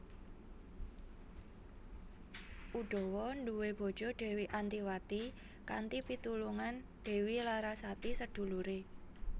Udawa nduwe bojo Dewi Antiwati kanthi pitulungan Dewi Larasati sedulure